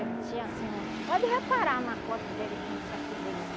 Ele tinha, assim, um... Pode reparar na foto dele, como isso aqui dele